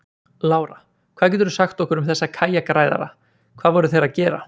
Lára: Hvað geturðu sagt okkur um þessa kajakræðara, hvað voru þeir að gera?